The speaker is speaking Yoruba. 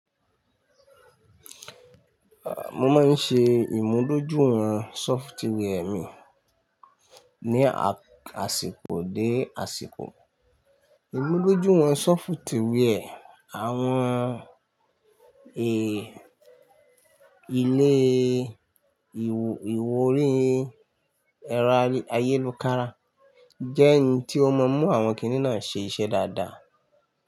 Mo máa ń ṣe ìmúdójúwọ̀n sọfitíwẹ́ mi ní àsìkò dé àsìkò. Ìmúdójúìwọ̀n sọfitíwiẹ́ àwọn è ilé ìwọ̀-orí ẹ̀rọ ayélukára jẹ́ ẹni tí ó ma mú àwọn kìnnì náà ṣe iṣẹ́ dáadáa.